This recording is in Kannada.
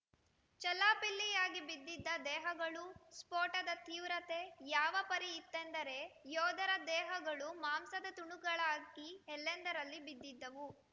ಚೆಲ್ಲಾಪಿಲ್ಲಿಯಾಗಿ ಬಿದ್ದಿದ್ದ ದೇಹಗಳು ಸ್ಫೋಟದ ತೀವ್ರತೆ ಯಾವ ಪರಿ ಇತ್ತೆಂದರೆ ಯೋಧರ ದೇಹಗಳು ಮಾಂಸದ ತುಣುಕುಗಳಾಗಿ ಎಲ್ಲೆಂದರಲ್ಲಿ ಬಿದ್ದಿದ್ದವು